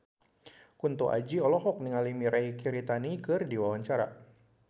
Kunto Aji olohok ningali Mirei Kiritani keur diwawancara